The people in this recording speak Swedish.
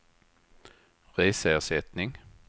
reseersättning